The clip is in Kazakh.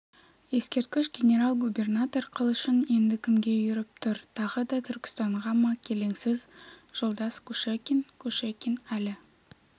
ескерткіш генерал-губернатор қылышын енді кімге үйіріп тұр тағы да түркістанға ма келеңсіз жолдас кушекин кушекин әлі